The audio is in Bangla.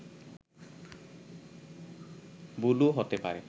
ভুলও হতে পারে